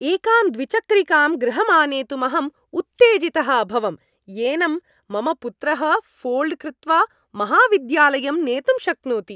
एकां द्विचक्रिकां गृहं आनेतुमहम् उत्तेजितः अभवं, येनं मम पुत्रः ऴोल्ड् कृत्वा महाविद्यालयं नेतुं शक्नोति।